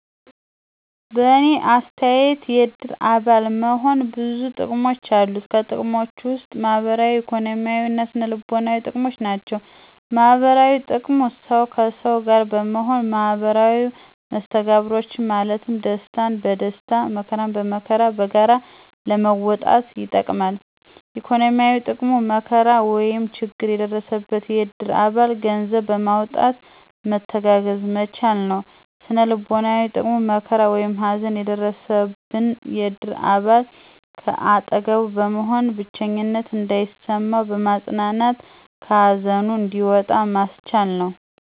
በእኔ አተያየት የእድር አባል መሆን ብዙ ጥቅሞች አሉት። ከጥቅሞችም ውስጥ ማህበራዊ፣ ኢኮኖሚያዊ እና ስነ-ልቦናዊ ጥቅሞች ናቸው። -ማህበራዊ ጥቅሙ፦ ሠው ከሠው ጋር በመሆን ማህበራዊ መስተጋብሮችን ማለትም ደስታን በደስታ መከራን በመከራ በጋራ ለመወጣት ይጠቅማል። -ኢኮኖሚያዊ፦ ጥቅሙ መከራ ወይም ችግር የደረሰበትን የእድር አባል ገንዘብ በማዋጣት መተጋገዝ መቻሉ ነው። -ስነ-ልቦናዊ ጥቅሙ፦ መከራ ወይም ሀዘን የደረሠበን የእድር አባል ከአጠገቡ በመሆን ብቸኝነት እንዳይሠማው በማፅናናት ከሀዘኑ እንዲወጣ ማስቻሉ ነው።